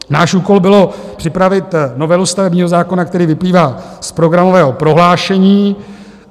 Náš úkol byl připravit novelu stavebního zákona, který vyplývá z programového prohlášení.